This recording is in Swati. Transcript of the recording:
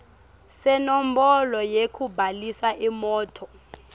senombolo yekubhalisa imoti